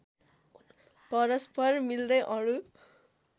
परस्पर मिल्दै अणु